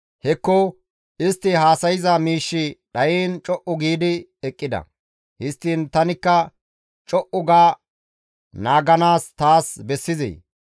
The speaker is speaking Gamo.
Hekko! Istti haasayza miishshi dhayiin co7u giidi eqqida; histtiin tanikka co7u ga naaganaas taas bessizee?